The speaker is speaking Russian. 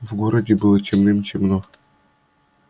в городе было темным-темно